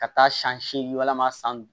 Ka taa san seegin walima san